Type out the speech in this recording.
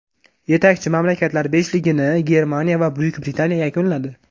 Yetakchi mamlakatlar beshligini Germaniya va Buyuk Britaniya yakunladi.